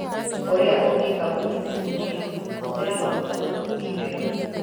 Ũrĩa Ũngĩka Gũthuthuria: Hũthĩra maguta manungi wega